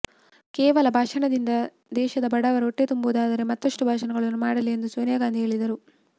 ಕೇವಲ ಭಾಷಣದಿಂದ ದೇಶದ ಬಡವರ ಹೊಟ್ಟೆ ತುಂಬುವುದಾದರೆ ಮತ್ತಷ್ಟು ಭಾಷಣಗಳನ್ನು ಮಾಡಲಿ ಎಂದು ಸೋನಿಯಾಗಾಂಧಿ ಹೇಳಿದರು